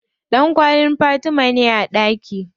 Ɗankwallin Fatima ne a ɗaki.